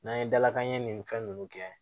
N'an ye dalakanɲɛ nin fɛn ninnu kɛ